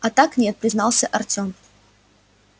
а так нет признался артём